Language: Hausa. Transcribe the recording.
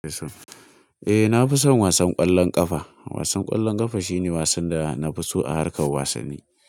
Eh na fi son wasan ƙwallon ƙafa. Wasan ƙwallon ƙafa shine wasan da na fi so a harkar wasanni.